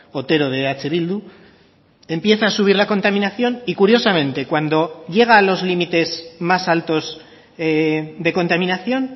otero de eh bildu empieza a subir la contaminación y curiosamente cuando llega a los límites más altos de contaminación